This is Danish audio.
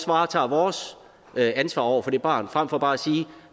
varetage vores ansvar over for det barn frem for bare at sige